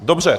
Dobře.